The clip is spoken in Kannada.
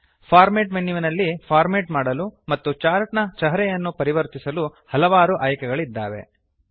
ಫಾರ್ಮ್ಯಾಟ್ ಮೆನುವಿನಲ್ಲಿ ಫಾರ್ಮೇಟ್ ಮಾಡಲು ಮತ್ತು ಚಾರ್ಟ್ ನ ಚಹರೆಯನ್ನು ಪರಿವರ್ತಿಸಲು ಹಲವಾರು ಆಯ್ಕೆಗಳಿದ್ದಾವೆ